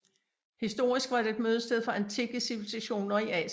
Historisk var det et mødested for antikke civilisationer i Asien